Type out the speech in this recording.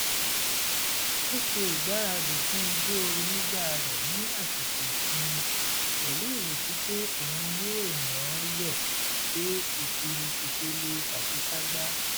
ó ṣe ìgbáradì fún ijó onígbà rẹ̀ ní àsìkò ìsinmi pẹ̀lú ìrètí pé òun yóò yán-an yọ dé ipele àṣekágbá